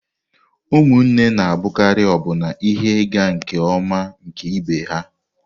Ụmụnne na-abụkarị ọbụna ihe ịga nke ọma nke ibe ha.